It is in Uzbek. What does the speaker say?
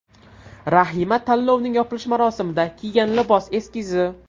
Rahima tanlovning yopilish marosimida kiygan libos eskizi.